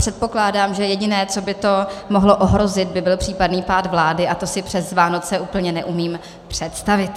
Předpokládám, že jediné, co by to mohlo ohrozit, by byl případný pád vlády, a to si přes Vánoce úplně neumím představit.